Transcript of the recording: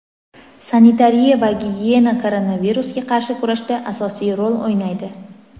sanitariya va gigiyena koronavirusga qarshi kurashda asosiy rol o‘ynaydi.